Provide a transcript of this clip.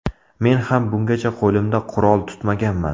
Men ham bungacha qo‘limda qurol tutmaganman.